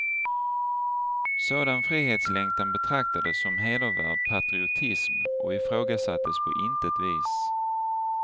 Sådan frihetslängtan betraktades som hedervärd patriotism och ifrågasattes på intet vis.